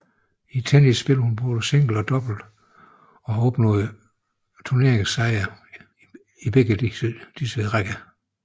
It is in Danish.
I tennis spiller hun både single og double og har opnået turneringssejre i begge disse rækker